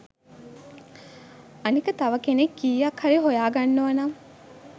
අනික තව කෙනෙක් කීයක් හරි හොයා ගන්නවනම්